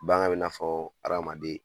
Bagan bi na fɔ adamaden